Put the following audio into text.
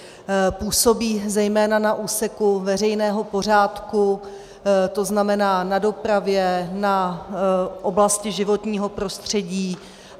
Působí zejména na úseku veřejného pořádku, to znamená na dopravě, na oblasti životního prostředí.